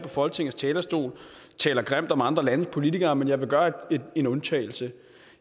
folketingets talerstol taler grimt om andre landes politikere men jeg vil gøre en undtagelse